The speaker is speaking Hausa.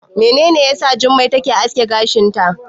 Menene yasa Jummai ta aske gashinta?